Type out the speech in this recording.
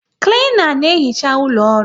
Klena na ehicha ụlọ ọrụ